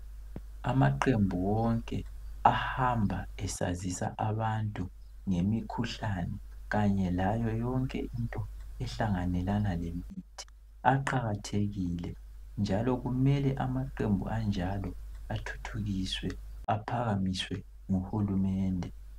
Amaqembu wonke ahamba esazisa abantu ngemikhuhlane kanye layo yonke into ehlanganelana emithi aqakathekile unjalo kumele amaqembu anjalo athuthukiswe aphakamiswe ngohulumende